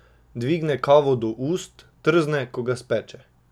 Dvigne kavo do ust, trzne, ko ga speče.